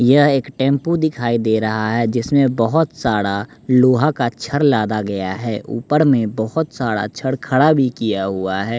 यह एक टेंपू दिखाई दे रहा है जिसमें बहोत सारा लोहा का क्षर लादा गया है ऊपर में बहोत सारा छड़ खड़ा भी किया हुआ है।